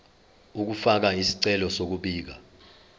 ukufaka isicelo sokubika